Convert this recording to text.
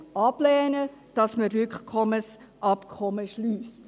er lehnt ab, dass man Rücknahmeabkommen schliesst.